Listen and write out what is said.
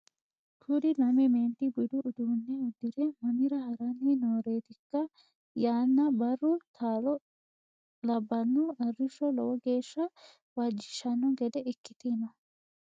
kuu'uri lame meenti budu uduunne udire mamira harani nooreetikka yanna barru taaloote labbanno arishsho lowo geeshsha waajjishshanno gede ikkite no